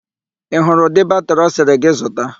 Ị hụrụ udị batịrị ọ sịrị gị zuta?